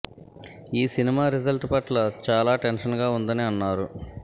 ఈ cinema result పట్ల చాలా టెన్షన్ గా ఉందని అన్నారు